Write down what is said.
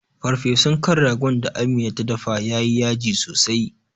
Farfesun kan ragon da amina ta dafa yayi yaji sosai